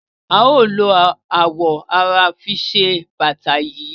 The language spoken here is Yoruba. A o lo awọ ara fi se bata yii.